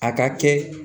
A ka kɛ